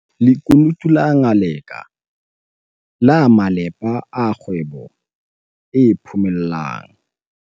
Lekunutu la Ngaleka la malepa a kgwebo e phomellang